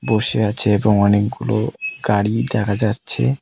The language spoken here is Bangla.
বসে আছে এবং অনেকগুলো গাড়ি দেখা যাচ্ছে।